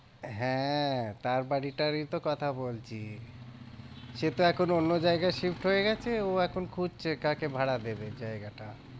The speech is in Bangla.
হ্যাঁ, তার বাড়িটারই তো কথা বলছি সে তো এখন অন্য জায়গায় shift হয়ে গেছে ও এখন খুঁজছে কাকে ভাড়া দেবে জায়গাটা।